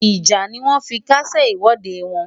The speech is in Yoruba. Ìjà ni wọ́n fi kásẹ̀ ìwọ́de wọn.